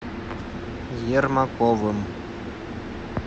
ермаковым